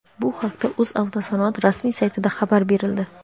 Bu haqda "O‘zavtosanoat" rasmiy saytida xabar berildi.